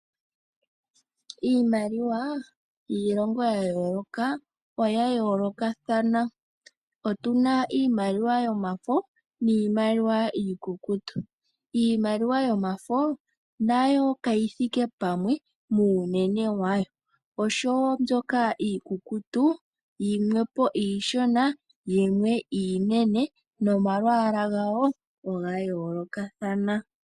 Iimaliwa yiilongo ya yooloka oya yoolokathana. Otu na iimaliwa yomafo niimaliwa iikukutu. Iimaliwa yomafo nayo kayi thike pamwe muunene wayo, oshowo mbyoka iikukutu yimwe po iishona, yimwe iinene nomalwaala gayo oga yoolokathana.